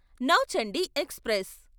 Nauchandi express